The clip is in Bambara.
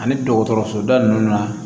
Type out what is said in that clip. Ani dɔgɔtɔrɔso da ninnu na